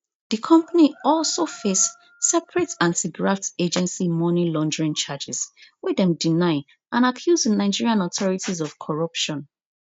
di company also face separate antigraft agency money laundering charges wey dem deny and accuse di nigerian authorities of corruption